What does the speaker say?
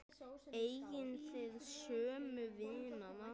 Eigið þið sömu vinina?